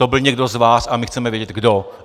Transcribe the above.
To byl někdo z vás a my chceme vědět, kdo.